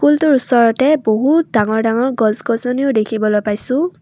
স্কুলটোৰ ওচৰতে বহুত ডাঙৰ ডাঙৰ গছ গছনিও দেখিবলৈ পাইছোঁ।